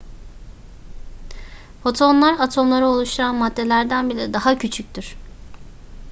fotonlar atomları oluşturan maddelerden bile daha küçüktür